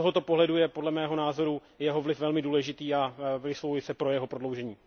Z tohoto pohledu je podle mého názoru jeho vliv velmi důležitý a vyslovuji se pro jeho prodloužení.